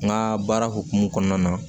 N ka baara hokumu kɔnɔna na